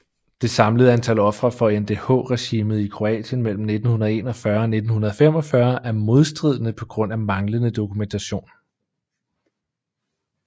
Det samlede antal ofre for NDH regimet i Kroatien mellem 1941 og 1945 er modstridende på grund af manglende dokumentation